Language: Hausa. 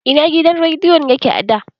Ina gidan rediyon yake a da?